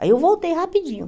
Aí eu voltei rapidinho.